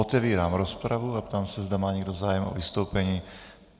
Otevírám rozpravu a ptám se, zda má někdo zájem o vystoupení.